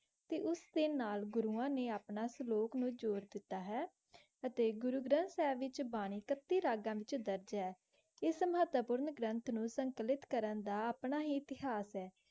ਤੇ ਉਸ ਦੇ ਨਾਲ ਘੁਰੁਵਾ ਨਾਲ ਘੁਰੁਵਾ ਨੇ ਆਪਣਾ ਸਲੂਕ਼ ਨੂ ਜੋਰ ਦਿਤਾ ਹੈ ਤਾ ਘੁਰੁ ਗਾਰਸ ਵਿਚ ਬਾਨੀ ਤਾਤੀ ਰਾਗਾ ਵਿਚ ਦਰਜ ਹੈ ਇਸ ਮਹਤਾ ਪੂਰ ਨਿਗ੍ਰੰਤ ਨੂ ਸੁਨ੍ਕਾਲਿਕ ਕਰਨ ਦਾ ਆਪਣਾ ਹੀ ਇਤਹਾਸ ਹੈ